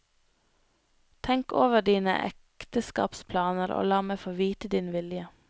Tenk over dine ekteskapsplaner og la meg få vite din vilje.